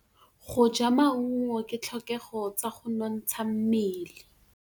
Go ja maungo ke ditlhokegô tsa go nontsha mmele.